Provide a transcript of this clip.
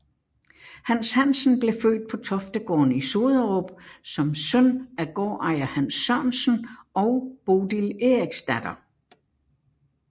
Hans Hansen blev født på Toftegården i Soderup som søn af gårdejer Hans Sørensen og Bodil Eriksdatter